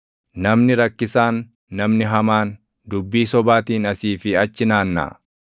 Namni rakkisaan, namni hamaan, dubbii sobaatiin asii fi achi naannaʼa;